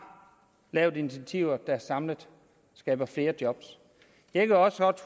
taget initiativer der samlet skaber flere job jeg kan også godt